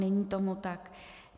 Není tomu tak.